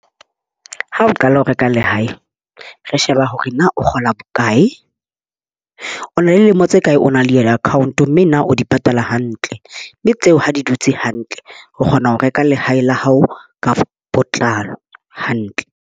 Ha o qala ho reka lehae, re sheba hore na o kgola bokae. O na le lemo tse kae o na le yona account, mme na o di patala hantle. Mme tseo ha di dutse hantle, o kgona ho reka lehae la hao ka botlalo hantle.